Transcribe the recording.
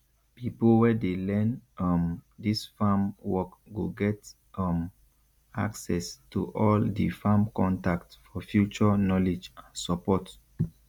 pipo wey dey learn um dis farm work go get um access to all di farm contact for future knowledge and support